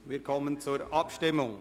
Wir kommen zur Abstimmung.